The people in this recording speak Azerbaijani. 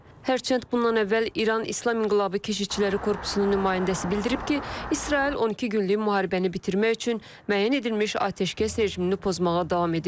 Hərçənd, bundan əvvəl İran İslam İnqilabı Keşikçiləri Korpusunun nümayəndəsi bildirib ki, İsrail 12 günlük müharibəni bitirmək üçün müəyyən edilmiş atəşkəs rejimini pozmağa davam edir.